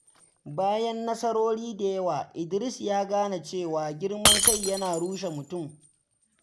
Bayan nasarori da yawa, Idris ya gane cewa girman kai yana rushe mutum.